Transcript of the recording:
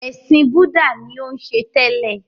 Ẹ̀sìn búdà ni ó ń ṣe tẹ́lẹ̀.